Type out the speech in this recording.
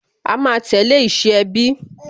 A máa tẹ̀lé ìṣe ẹbí